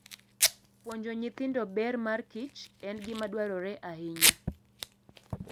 Puonjo nyithindo ber mar kich en gima dwarore ahinya.